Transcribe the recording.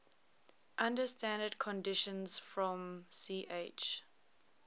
under standard conditions from ch